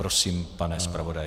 Prosím, pane zpravodaji.